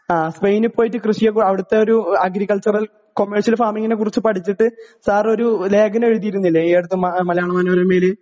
ഉക്രയിനിൽ പോയി കൃഷിയെക്കുറിച്ചു അവിടുത്തെ ഒരു അഗ്രിക്കച്ചറൽ കൊമേർഷ്യൽ ഫാമിംഗിനെ കുറിച്ച് പഠിച്ചിട്ട് സാർ ഒരു ലേഖഗം എഴുതിയില്ലേ ഈയടുത്തു മലയാള മനോരമയിൽ